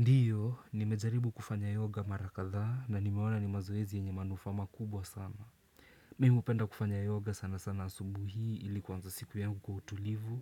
Ndio, nimejaribu kufanya yoga mara kadhaa na nimeona ni mazoezi yenye manufaa makubwa sana. Mimi hupenda kufanya yoga sana sana asubuhi ili kuanza siku yangu kwa utulivu